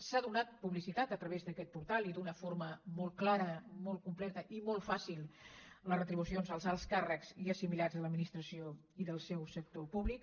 s’ha donat publicitat a través d’aquest portal i d’una forma molt clara molt completa i molt fàcil a les retribucions dels alts càrrecs i assimilats a l’administració i del seu sector públic